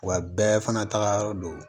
Wa bɛɛ fana taga yɔrɔ don